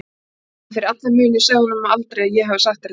En fyrir alla muni segðu honum aldrei að ég hafi sagt þér þetta.